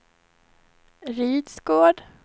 Rydsgård